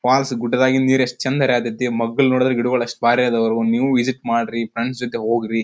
Falls ಗುಡ್ದದಾಗಿಂದ್ ನೀರ್ ಎಷ್ಟು ಚಂದ್ ಹರಿಯ ಹತ್ತೈತಿ ಮೊಗ್ಗುಗಲ್ ನೋಡಿದ್ರೆ ಗಿಡಗಳು ಬರಿ ಆದವು ನೀವು ವಿಸಿಟ್ ಮಾಡ್ರಿ ಫ್ರೆಂಡ್ಸ್ ಜೊತೆ ಹೊಗ್ರಿ.